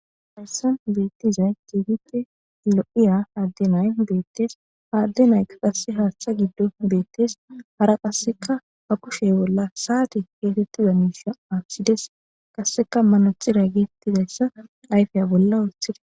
Hayissanni betizayi kehippe lo'iya adee nayi betees.haa ade nayikka haththe giddon betees.hara qasekka baa kushshe bolla sate getettiza mishsha aththidees.qasekka manexxira getettizayissa ayifiya bolla woththides.